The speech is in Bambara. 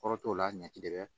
Kɔrɔ t'o la ɲaci de bɛ